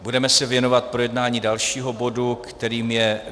Budeme se věnovat projednání dalšího bodu, kterým je